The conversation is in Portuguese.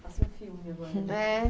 Passa um filme agora. É